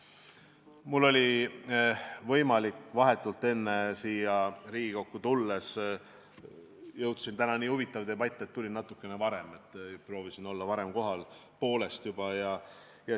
Mul oli täna võimalik ja ma proovisin siia Riigikokku – täna on nii huvitav debatt – tulla varem kohale, poolest juba.